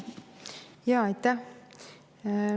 Jaa, aitäh!